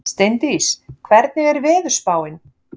Steindís, hvernig er veðurspáin?